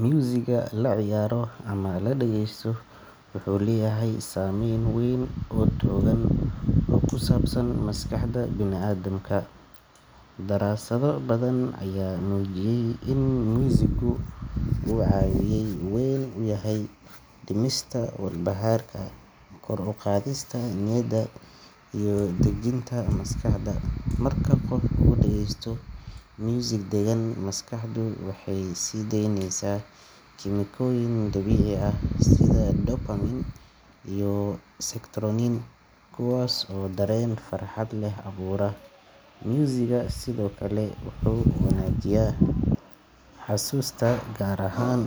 Musiga la ciyaaro ama la dhageysto wuxuu leeyahay saameyn weyn oo togan oo ku saabsan maskaxda bini’aadamka. Daraasado badan ayaa muujiyay in musigu uu caawiye weyn u yahay dhimista walbahaarka, kor u qaadista niyadda, iyo dejinta maskaxda. Marka qof uu dhageysto musig deggan, maskaxdu waxay sii deyneysaa kiimikooyin dabiici ah sida dopamine iyo serotonin kuwaas oo dareen farxad leh abuura. Musiga sidoo kale wuxuu wanaajiyaa xasuusta, gaar ahaan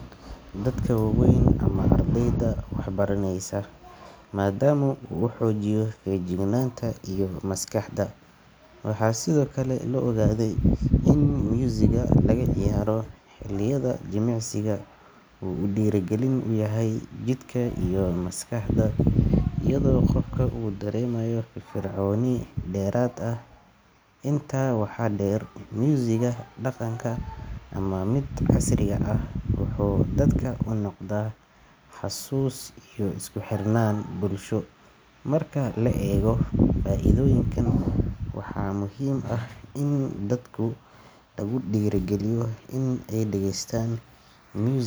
dadka waaweyn ama ardayda waxbaraneysa, maadaama uu xoojiyo feejignaanta iyo maskaxda. Waxaa sidoo kale la ogaaday in musiga laga ciyaaro xilliyada jimicsiga uu dhiirigelin u yahay jidhka iyo maskaxda, iyadoo qofku uu dareemayo firfircooni dheeraad ah. Intaa waxaa dheer, musiga dhaqanka ama mid casriga ah wuxuu dadka u noqdaa xasuus iyo isku xirnaan bulsho. Marka la eego faa’iidooyinkan, waxaa muhiim ah in dadka lagu dhiirrigeliyo in ay dhageystaan musig.